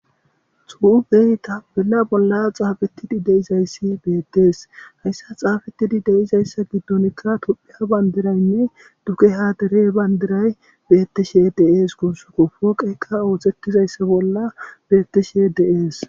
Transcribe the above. Xufey tafela bela bolla xaafettidi deizayssi beettees hayssa xaafettidi deizayssa giddonkka tuphiya bandiraynne duke haadere bayndiray beettishe deees kursuko fooqeqa ootettizayssa bolla beettishe deees